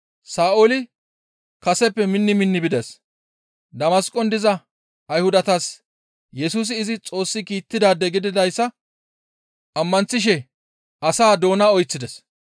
Sa7ooli kaseppe minni minni bides; Damasqon diza Ayhudatas Yesusi izi Xoossi kiittidaade gididayssa ammanththishe asaa doona oyththides.